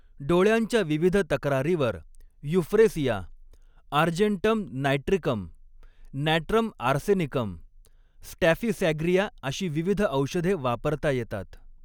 डोळ्यांच्या विविध तक्रारीवर Euphrasia, Argentum Nitricum, Natrum Arsenicum, Staphysagria अशी विविध औषधे वापरता येतात.